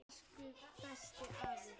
Elsku besti, afi minn.